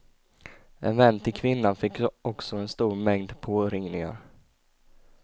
En vän till kvinnan fick också en stor mängd påringningar.